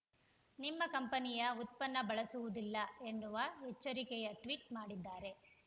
ನಿಮ್ಮ ಕಂಪನಿಯ ಉತ್ಪನ್ನ ಬಳಸುವುದಿಲ್ಲ ಎನ್ನುವ ಎಚ್ಚರಿಕೆಯ ಟ್ವಿಟ್ ಮಾಡಿದ್ದಾರೆ